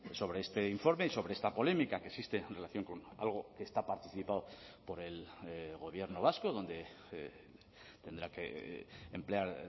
sobre este informe y sobre esta polémica que existe en relación con algo que está participado por el gobierno vasco donde tendrá que emplear